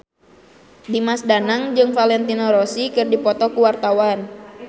Dimas Danang jeung Valentino Rossi keur dipoto ku wartawan